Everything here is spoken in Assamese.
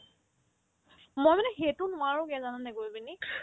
মই মানে সেইটো নেৱাৰোগে জানানে কৰি পিনি